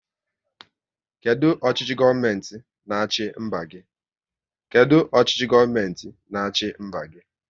Kedụ ọchịchị gọọmenti n'achi mba gị?